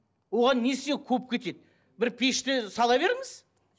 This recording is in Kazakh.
оған несіне көп кетеді бір пешті сала беріңіз